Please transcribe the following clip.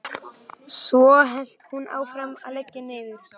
Svo hélt hún áfram að leggja niður.